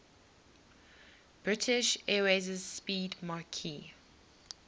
british airways 'speedmarque